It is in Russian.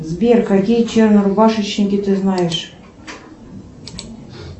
сбер какие чернорубашечники ты знаешь